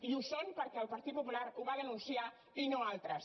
i ho són perquè el partit popular ho va denunciar i no altres